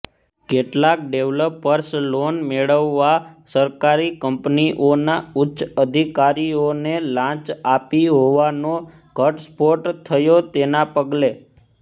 કેટલાક ડેવલપર્સે લોન મેળવવા સરકારી કંપનીઓના ઉચ્ચ અધિકારીઓને લાંચ આપી હોવાનો ઘટસ્ફોટ થયો તેના પગલે